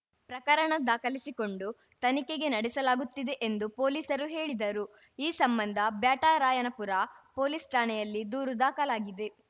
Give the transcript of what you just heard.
ಪ್ರಕರಣ ದಾಖಲಿಸಿಕೊಂಡು ತನಿಖೆಗೆ ನಡೆಸಲಾಗುತ್ತಿದೆ ಎಂದು ಪೊಲೀಸರು ಹೇಳಿದರು ಈ ಸಂಬಂಧ ಬ್ಯಾಟರಾಯನಪುರ ಪೊಲೀಸ್‌ ಠಾಣೆಯಲ್ಲಿ ದೂರು ದಾಖಲಾಗಿದೆ